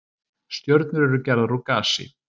Stjörnur eru gerðar úr gasi.